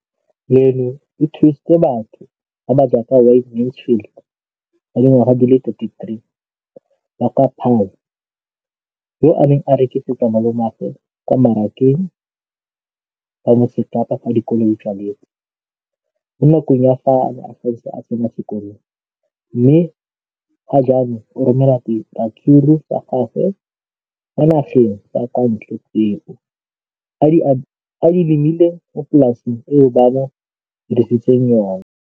leno le thusitse batho ba ba jaaka Wayne Mansfield, 33, wa kwa Paarl, yo a neng a rekisetsa malomagwe kwa Marakeng wa Motsekapa fa dikolo di tswaletse, mo nakong ya fa a ne a santse a tsena sekolo, mme ga jaanong o romela diratsuru tsa gagwe kwa dinageng tsa kwa ntle tseo a di lemileng mo polaseng eo ba mo hiriseditseng yona.